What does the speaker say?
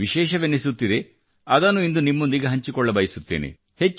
ವಿಶೇಷವೆನಿಸುತ್ತಿದೆ ಅದನ್ನು ಇಂದು ನಿಮ್ಮೊಂದಿಗೆ ಹಂಚಿಕೊಳ್ಳಬಯಸುತ್ತೇನೆ